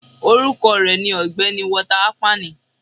Orukọ rẹ ni Ọgbẹni Walter Akpani